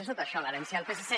és tot això l’herència del psc